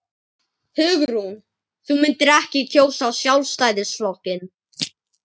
Hugrún: Þú myndir ekki kjósa Sjálfstæðisflokkinn?